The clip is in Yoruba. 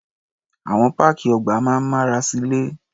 Àwọn páàkì ọgbà máa ń mára silé.